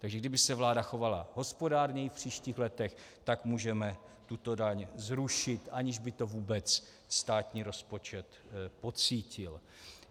Takže kdyby se vláda chovala hospodárněji v příštích letech, tak můžeme tuto daň zrušit, aniž by to vůbec státní rozpočet pocítil.